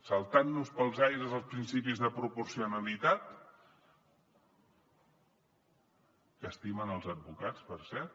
saltant nos pels aires els principis de proporcionalitat que estimen els advocats per cert